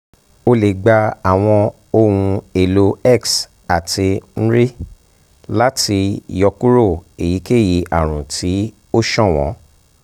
o le gba awọn ohun-elo x ati mri lati yọkuro eyikeyi arun ti o ṣọwọn